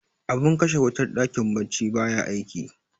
abin kashe wutar dakin baccin baya aiki